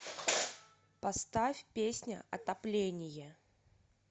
поставь песня отопление